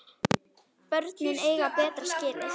Börnin eiga betra skilið.